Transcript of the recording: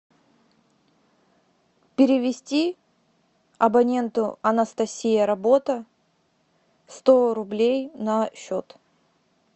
перевести абоненту анастасия работа сто рублей на счет